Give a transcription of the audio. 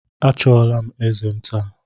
A chọula m eze m taa